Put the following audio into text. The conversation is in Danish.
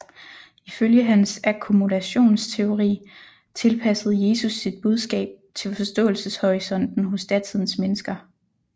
Ifølge hans akkommodationteori tilpassede Jesus sit budskab til forståelseshorisonten hos datidens mennesker